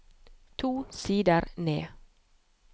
To sider ned